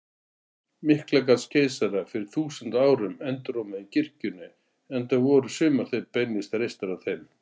Miklagarðskeisara fyrir þúsund árum enduróma í kirkjunum, enda voru sumar þeirra beinlínis reistar af þeim.